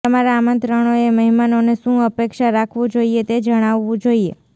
તમારા આમંત્રણોએ મહેમાનોને શું અપેક્ષા રાખવું જોઈએ તે જણાવવું જોઈએ